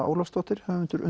Ólafsdóttir höfundur